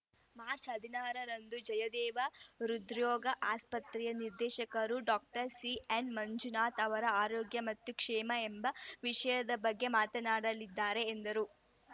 ಮಾಚ್ ಹದಿನಾರು ರಂದು ಜಯದೇವ ಹೃದ್ರೋಗ ಆಸ್ಪತ್ರೆಯ ನಿರ್ದೇಶಕ ಡಾಕ್ಟರ್ ಸಿಎನ್ ಮಂಜುನಾಥ್ ಅವರು ಆರೋಗ್ಯ ಮತ್ತು ಕ್ಷೇಮ ಎಂಬ ವಿಷಯದ ಬಗ್ಗೆ ಮಾತನಾಡಲಿದ್ದಾರೆ ಎಂದರು